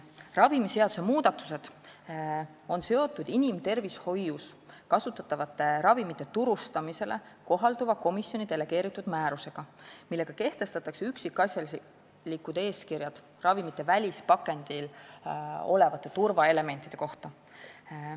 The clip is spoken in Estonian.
Ravimiseaduse muudatused on seotud inimtervishoius kasutatavate ravimite turustamisele kohalduva komisjoni delegeeritud määrusega, millega kehtestatakse üksikasjalikud eeskirjad ravimite välispakendil olevate turvaelementide kohta.